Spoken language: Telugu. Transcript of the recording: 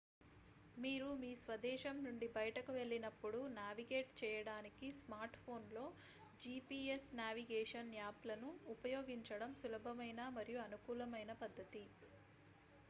మీరు మీ స్వదేశం నుండి బయటకు వెళ్ళినపుడు నావిగేట్ చెయ్యడానికి స్మార్ట్ఫోన్లో gps నావిగేషన్ యాప్లను ఉపయోగించడం సులభమైన మరియు అనుకూలమైన పద్ధతి